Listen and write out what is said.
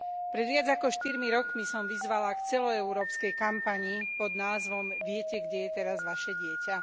Pred viac ako štyrmi rokmi som vyzvala k celoeurópskej kampani pod názvom Viete, kde je teraz vaše dieťa?.